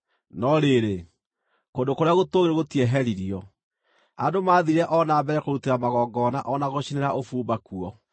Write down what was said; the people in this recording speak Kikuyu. No rĩrĩ, kũndũ kũrĩa gũtũũgĩru gũtieheririo; andũ maathiire o na mbere kũrutĩra magongona o na gũcinĩra ũbumba kuo.